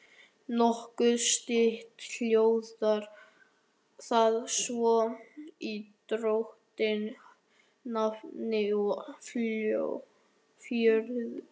Nokkuð stytt hljóðar það svo í drottins nafni og fjörutíu